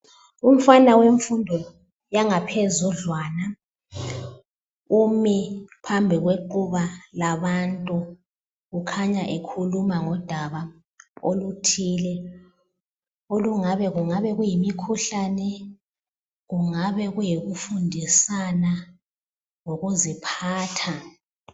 Umfana wemfundo yangaphezudlwana umi phambi kwequba labantu ukhanya ekhuluma ngodaba oluthile olungabe kungabe kuyimikhuhlane, kungaba kuyikufundisana ngokuziphatha.